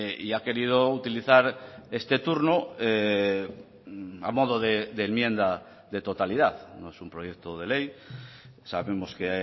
y ha querido utilizar este turno a modo de enmienda de totalidad no es un proyecto de ley sabemos que